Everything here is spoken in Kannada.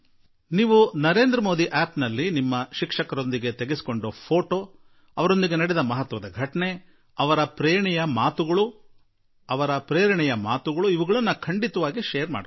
ನೀವು ನರೇಂದ್ರ ಮೋದಿ ಂಠಿಠಿನಲ್ಲಿ ನಿಮ್ಮ ಶಿಕ್ಷಕರ ಜತೆಗಿನ ಭಾವಚಿತ್ರ ಇದ್ದರೆ ನಿಮ್ಮ ಶಿಕ್ಷಕರೊಂದಿಗಿನ ಘಟನೆ ಇದ್ದರೆ ನಿಮ್ಮ ಶಿಕ್ಷಕರ ಯಾವುದೇ ಸ್ಫೂರ್ತಿದಾಯಕ ಮಾತಿದ್ದರೆ ನೀವು ಖಂಡಿತಾ ಹಂಚಿಕೊಳ್ಳಿ